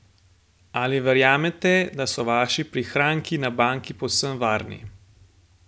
Ali verjamete, da so vaši prihranki na banki povsem varni?